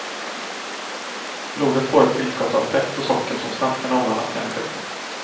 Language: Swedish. Blodet får ett tillskott av fett och socker som snabbt kan omvandlas till energi.